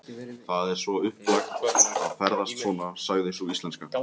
Það er svo upplagt að ferðast svona, sagði sú íslenska.